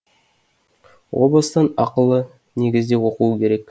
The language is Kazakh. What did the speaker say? о бастан ақылы негізде оқу керек